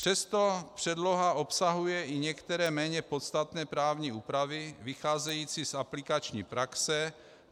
Přesto předloha obsahuje i některé méně podstatné právní úpravy vycházející z aplikační praxe.